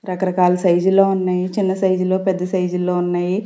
రకరకాల సైజు లో ఉన్నాయి చిన్న సైజు లో పెద్ద సైజు లో ఉన్నాయి.